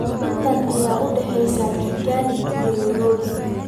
intee ayay u dhaxaysaa kigali iyo nairobi